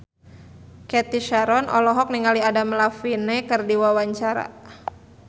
Cathy Sharon olohok ningali Adam Levine keur diwawancara